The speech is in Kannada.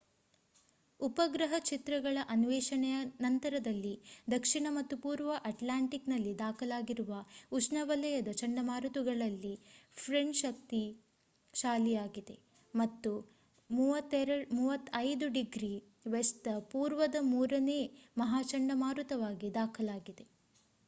ಉಪಗ್ರಹ ಚಿತ್ರಗಳ ಅನ್ವೇಷಣೆಯ ನಂತರದಲ್ಲಿ ದಕ್ಷಿಣ ಮತ್ತು ಪೂರ್ವ ಅಟ್ಲಾಂಟಿಕ್ ನಲ್ಲಿ ದಾಖಲಾಗಿರುವ ಉಷ್ಣವಲಯದ ಚಂಡಮಾರುತಗಳಲ್ಲಿ ಫ್ರೆಡ್ ಶಕ್ತಿಶಾಲಿಯಾಗಿದೆ ಮತ್ತು 35°w ದ ಪೂರ್ವದ ಮೂರನೇ ಮಹಾ ಚಂಡಮಾರುತವಾಗಿ ದಾಖಲಾಗಿದೆ